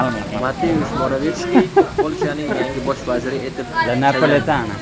Mateush Moravetskiy Polshaning yangi bosh vaziri etib saylandi.